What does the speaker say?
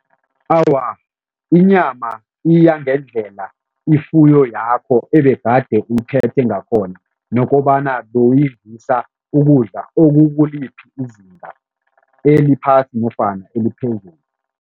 Awa, inyama iya ngendlela ifuyo yakho ebegade uyiphethe ngakhona nokobana bewuyidlisa ukudla okukuliphi izinga, eliphasi nofana eliphezulu.